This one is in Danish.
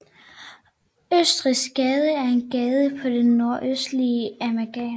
Østrigsgade er en gade på det nordøstlige Amager